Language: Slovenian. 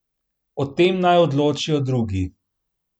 O tem naj odločijo drugi.